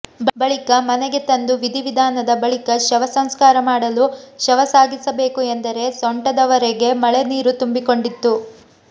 ಬಳಿಕ ಮನೆಗೆ ತಂದು ವಿಧಿವಿಧಾನದ ಬಳಿಕ ಶವ ಸಂಸ್ಕಾರ ಮಾಡಲು ಶವ ಸಾಗಿಸಬೇಕು ಎಂದರೆ ಸೊಂಟದವರೆಗೆ ಮಳೆ ನೀರು ತುಂಬಿಕೊಂಡಿತ್ತು